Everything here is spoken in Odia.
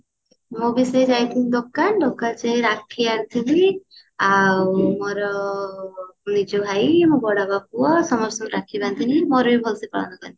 ମୁଁ ବି ସେଇ ଯାଇଥିଲି ଦୋକାନ ଦୋକ ସେଇ ରାକ୍ଷୀ ଆଣିଥିଲି ଆଉ ମୋର ନିଜ ଭାଇ ମୋ ବଡବାପା ପୁଅ ସମସ୍ତଙ୍କୁ ରାକ୍ଷୀ ବାନ୍ଦିଲି ମୋର ବି ଭଲସେ ପାଳନ କଲି